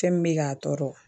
Fɛn min be k'a tɔɔrɔ